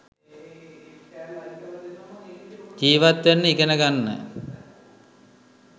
ජීවත් වෙන්න ඉගෙන ගන්න.